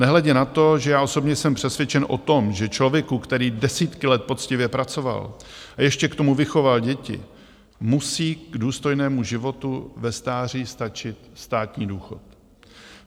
Nehledě na to, že já osobně jsem přesvědčen o tom, že člověku, který desítky let poctivě pracoval a ještě k tomu vychoval děti, musí k důstojnému životu ve stáří stačit státní důchod.